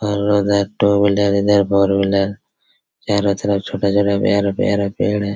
और उधर ट्व-व्हीलर इधर फोर-व्हीलर चारो तरफ छोटा-छोटा प्यारा-प्यारा पेड़ है।